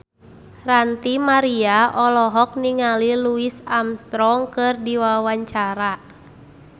Ranty Maria olohok ningali Louis Armstrong keur diwawancara